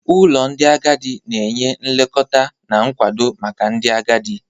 Ụlọ ndị agadi na-enye nlekọta na nkwado maka ndị agadi.